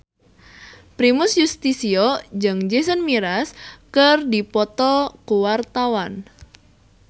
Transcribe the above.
Primus Yustisio jeung Jason Mraz keur dipoto ku wartawan